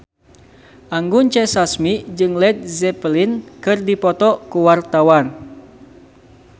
Anggun C. Sasmi jeung Led Zeppelin keur dipoto ku wartawan